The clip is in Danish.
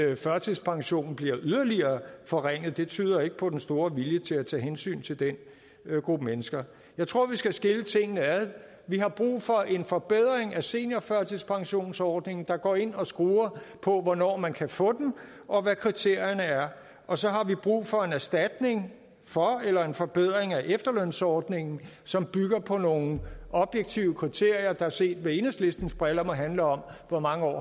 at førtidspensionen bliver yderligere forringet det tyder ikke på den store vilje til at tage hensyn til den gruppe mennesker jeg tror vi skal skille tingene ad vi har brug for en forbedring af seniorførtidspensionsordningen der går ind og skruer på hvornår man kan få den og hvad kriterierne er og så har vi brug for en erstatning for eller en forbedring af efterlønsordningen som bygger på nogle objektive kriterier der set med enhedslistens briller må handle om hvor mange år